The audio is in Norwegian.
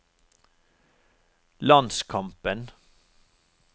landskampen